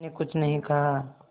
मैंने कुछ नहीं कहा